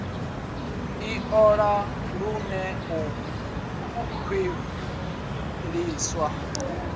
i ṱoḓa huṅwe u khwiṋiswa